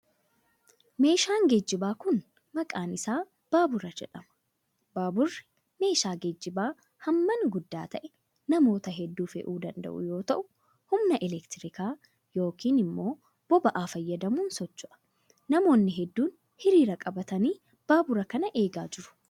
Meeshaan geejibaa kun, maqaan isaa baabura jedhama. Baaburri meeshaa geejibaa hammaan guddaa ta'ee namoota hedduu fe'uu danda'uu yoo ta'u, humna elektirikaa yokin immoo boba'a fayyadamuun socho'a. Namoonni hedduun hiriira qabatanii baabura kana eegaa jiru.